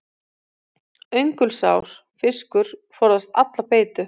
Öngulsár fiskur forðast alla beitu.